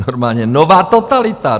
Normálně, nová totalita!